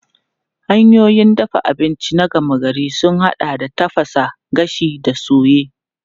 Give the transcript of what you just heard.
Hanyoyin dafa abinci na gama gari sun haɗa da tafasa, gashi da soye.